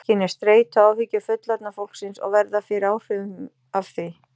Þau skynja streitu og áhyggjur fullorðna fólksins og verða fyrir áhrifum af því.